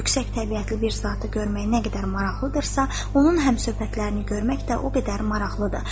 Yüksək təbiətli bir zatı görmək nə qədər maraqlıdırsa, onun həmsöhbətlərini görmək də o qədər maraqlıdır.